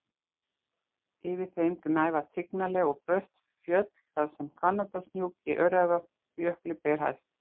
Yfir þeim gnæfa tignarleg og brött fjöll þar sem Hvannadalshnúk í Öræfajökli ber hæst.